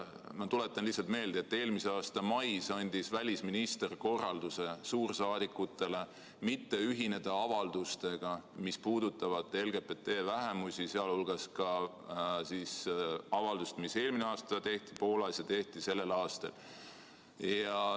Ma tuletan lihtsalt meelde, et eelmise aasta mais andis välisminister suursaadikutele korralduse mitte ühineda avaldustega, mis puudutavad LGBT vähemusi, sh avaldusega, mis tehti Poolas eelmisel aastal ja sellel aastal.